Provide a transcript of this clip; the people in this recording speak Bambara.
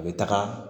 A bɛ taga